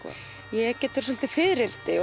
ég get svolítið fiðrildi